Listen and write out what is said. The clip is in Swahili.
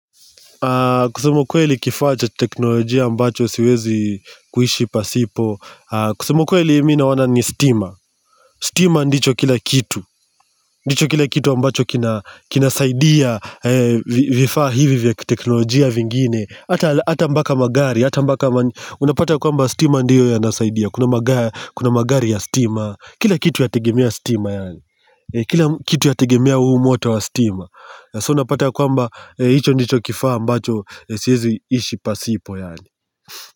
Kusema ukuweli kifaa cha teknolojia ambacho siwezi kuishi pasipo kusema ukweli mimi naona ni stima. Stima ndicho kila kitu. Ndicho kila kitu ambacho kinasaidia vifaa hivi vya kiteknolojia vingine hata mpaka magari Unapata ya kwamba stima ndiyo yanasaidia. Kuna magari Kuna magari ya stima. Kila kitu yategemea stima yaani. Kila kitu yategemea huu moto wa stima So unapata ya kwamba hicho nicho kifaa ambacho siwezi ishi pasipo yaani.